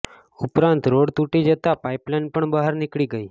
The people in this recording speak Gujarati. ઉપરાંત રોડ તૂટી જતા પાઇપલાઇન પણ બહાર નીકળી ગઈ